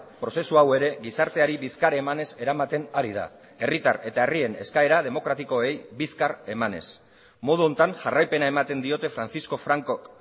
prozesu hau ere gizarteari bizkar emanez eramaten ari da herritar eta herrien eskaera demokratikoei bizkar emanez modu honetan jarraipena ematen diote francisco francok